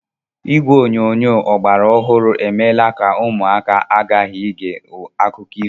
Igwe onyonyo ọgbara ọhụrụ emeela ka ụmụaka ghara ige akụkọ ifo.